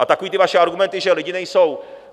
A takové ty vaše argumenty, že lidi nejsou...